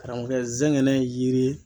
Karamɔgɔkɛ zɛngɛnɛ ye yiri ye